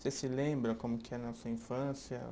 Você se lembra como que sua infância?